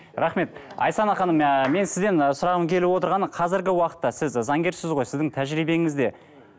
рахмет айсана ханым ыыы мен сізден сұрағым келіп отырғаны қазіргі уақытта сіз заңгерсіз ғой сіздің тәжірибеңізде